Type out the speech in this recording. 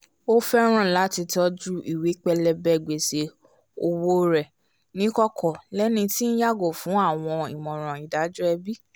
o fẹràn lati tọju ìwé pélébé gbèsè òwò rẹ ni ikọkọ lẹni tí nyàgò fún awọn ìmọràn ìdájọ́ ẹbi